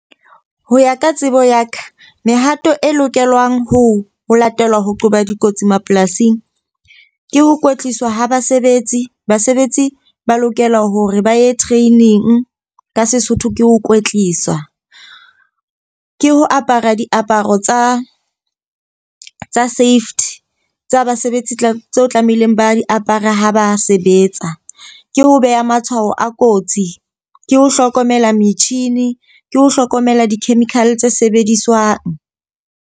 Ho ya ka tsebo ya ka mehato e lokelwang ho latelwa ho qoba dikotsi mapolasing ke ho kwetliswa ha basebetsi. Basebetsi ba lokela hore ba ye training ka Sesotho ke ho kwetliswa. Ke ho apara diaparo tsa tsa safety tsa basebetsi tseo tlamehileng ba di apare ha ba sebetsa. Ke ho beha matshwao a kotsi. Ke ho hlokomela metjhini ke ho hlokomela di-chemical tse sebediswang.